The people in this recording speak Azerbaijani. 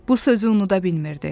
Bu sözü unuda bilmirdi.